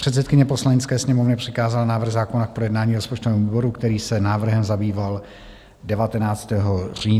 Předsedkyně Poslanecké sněmovny přikázala návrh zákona k projednání rozpočtovému výboru, který se návrhem zabýval 19. října na své 19. schůzi.